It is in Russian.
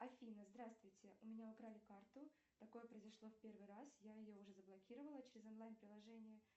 афина здравствуйте у меня украли карту такое произошло в первый раз я ее уже заблокировала через онлайн приложение